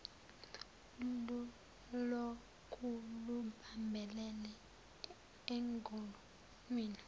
lulokhu lubambelele engonweni